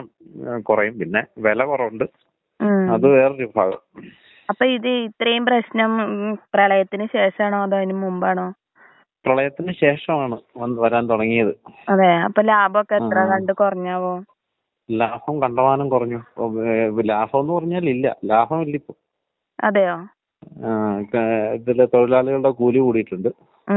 ങാ അതൊണ്ടടാ. അതിപ്പോ രക്തപരിശോധന എന്ന് പറയുമ്പോ ചെയ്യാറുള്ളത് എന്താണെന്നുപറഞ്ഞാല്, നമ്മുടെ, എന്താണ്, ബ്ലഡ് ആർ.ഇ. നോക്കാറുണ്ട് അത് പോലെ തന്നെ എ.ഇ.സി. കൗണ്ട് നോക്കാറുണ്ട്. എ.ഇ.സി. കൗണ്ടില് വിത്യാസം ഉള്ള ആൾക്കാരക്കെയാണെങ്കിൽ മാത്രം ഐ.ജി.ഇ. നോക്കാറുണ്ട്. പിന്നെ രോഗപ്രതിരോധശക്തി കുറവുള്ളോർക്കാണല്ലോ സ്വാഭാവികമായിട്ടും ഇങ്ങനെയാക്ക വരിക.